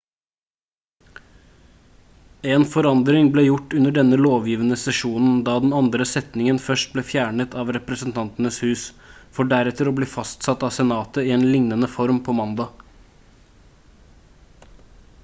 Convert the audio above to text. en forandring ble gjort under denne lovgivende sesjonen da den andre setningen først ble fjernet av representantenes hus for deretter å bli fastsatt av senatet i en lignende form på mandag